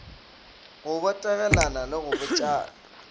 go botegelana le go botšana